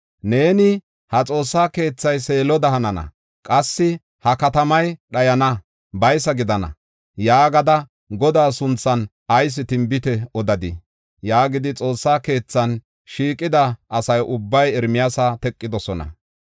Neeni, “ ‘Ha xoossa keethay Seeloda hanana; qassi ha katamay dhayana; baysa gidana’ yaagada, Godaa sunthan ayis tinbite odadii?” yaagidi, Xoossa keethan shiiqida asa ubbay Ermiyaasa teqidosona.